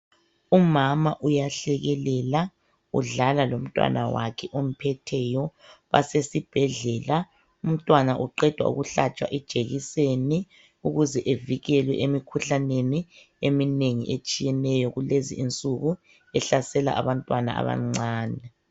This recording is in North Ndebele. Umama uyahlekelela, udlala lomntwana wakhe omphetheyo, basesibhedlela, umntwana uqedwa ukuhlatshwa ijekiseni ukuze evikele emikhuhlaneni eminengi etshiyeneyo kulezi insuku, ehlasela abantwana abancane.